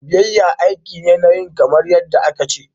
Biyayya aiki ne na yin kamar yadda aka ce.